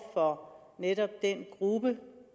for netop den gruppe